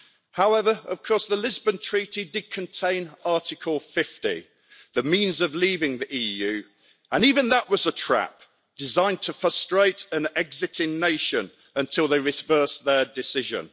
However, of course, the Lisbon Treaty did contain Article 50, the means of leaving the EU, and even that was a trap, designed to frustrate an exiting nation until they reversed their decision.